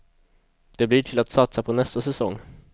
Det blir till att satsa på nästa säsong.